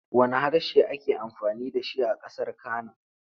Wanne harshe ake amfani da shi a ƙasar Cana.